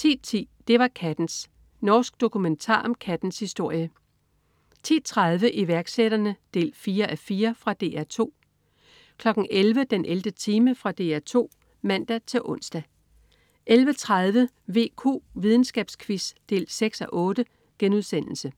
10.10 Det var kattens. Norsk dokumentar om kattens historie 10.30 Iværksætterne 4:4. Fra DR 2 11.00 den 11. time. Fra DR 2 (man-ons) 11.30 VQ. Videnskabsquiz 6:8*